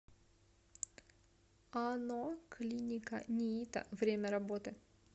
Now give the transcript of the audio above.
ано клиника ниито время работы